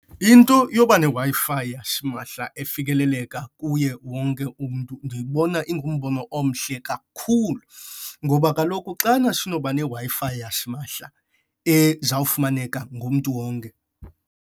Into yoba neWi-Fi yasimahla efikeleleka kuye wonke umntu ndiyibona ingumbono omhle kakhulu, ngoba kaloku xana sinoba neWi-Fi yasimahla ezawufumaneka ngumntu wonke.